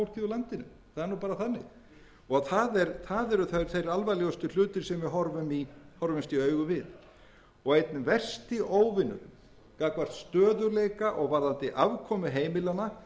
þannig og það eru þeir alvarlegustu hlutir sem við horfumst í augu við og einn versti óvinur gagnvart stöðugleika og varðandi afkomu heimilanna